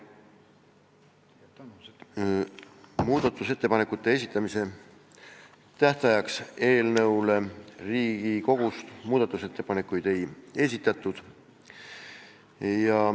Muudatusettepanekute esitamise tähtajaks Riigikogust ettepanekuid ei esitatud.